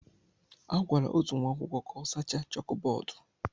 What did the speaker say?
A gwara otu nwa akwụkwọ ka ọ sachaa chókbódú